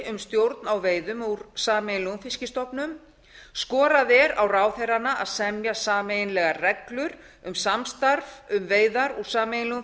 um stjórn á veiðum úr sameiginlegum fiskstofnum skorað er á ráðherranna að semja sameiginlegar reglur um samstarf um veiðar úr sameiginlegum